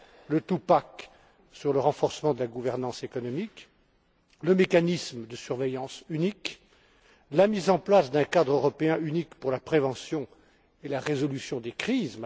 Le two pack sur le renforcement de la gouvernance économique, le mécanisme de surveillance unique, la mise en place d'un cadre européen unique pour la prévention et la résolution des crises.